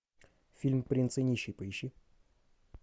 фильм принц и нищий поищи